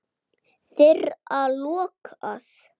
Þeirra lokað.